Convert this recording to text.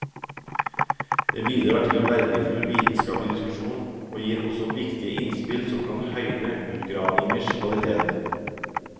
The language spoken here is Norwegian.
Det bidrar til verdifull vitenskapelig diskusjon, og gir også viktige innspill som kan høyne utgravningers kvalitet.